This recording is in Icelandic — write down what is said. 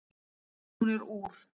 Hún er úr